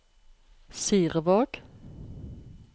Sirevåg